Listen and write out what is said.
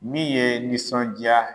Min ye n nisɔnja